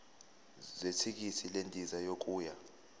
zethikithi lendiza yokuya